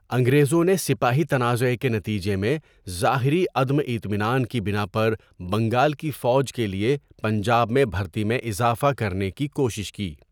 انگریزوں نے سپاہی تنازعہ کے نتیجے میں ظاہری عدم اطمینان کی بنا پر بنگال کی فوج کے لیے پنجاب میں بھرتی میں اضافہ کرنے کی کوشش کی۔